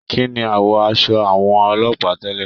Kínní awọ aṣọ àwọn ọlọ́pàá tẹlẹ?